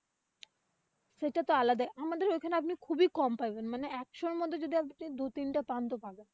সেটা তো আলাদা আমাদের ওইখানে আপনি খুবই কম পাবেন। মানে একশোর মধ্যে যদি আপনি যদি দু-তিনটা পান তো ভালো।